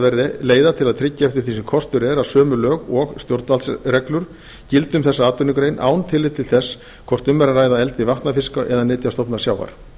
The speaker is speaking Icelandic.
verði leiða til að tryggja eftir því sem kostur er að sömu lög og stjórnvaldsreglur gildi um þessa atvinnugrein án tillits til þess hvort um er að ræða eldi vatnafiska eða nytjastofna sjávar